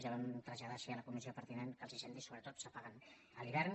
ja ho vam traslladar així a la comissió pertinent· que els incendis sobretot s’apaguen a l’hivern